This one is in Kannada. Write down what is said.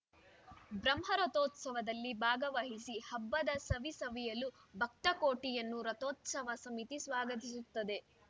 ಬ್ರಹ್ಮ ರಥೋತ್ಸವದಲ್ಲಿ ಭಾಗವಹಿಸಿ ಹಬ್ಬದ ಸವಿ ಸವಿಯಲು ಭಕ್ತಕೋಟಿಯನ್ನು ರಥೋತ್ಸವ ಸಮಿತಿ ಸ್ವಾಗತಿಸುತ್ತದೆ